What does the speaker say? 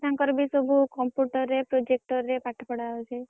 ତାଙ୍କର ବି ସବୁ କମ୍ପିଉଟର ରେ projector ରେ ପାଠ ପଢା ହଉଛି।